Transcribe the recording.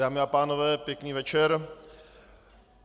Dámy a pánové, pěkný večer.